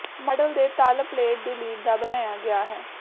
model ਦੇ ਤਲ plate ਦੀ ਲੀਡ ਦਾ ਬਣਾਇਆ ਗਿਆ ਹੈ